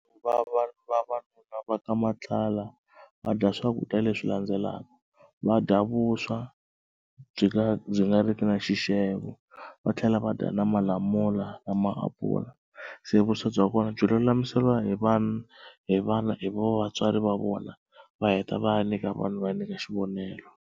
Vavanuna va ka Matlala va dya swakudya leswi landzelaka va dya vuswa byi nga byi nga riki na xixevo va tlhela va ta na malamula na maapula se vuswa bya kona byi lulamisela hi vanhu hi vana hi vatswari va vona va heta va ya nyika vanhu va nyika xivonelo.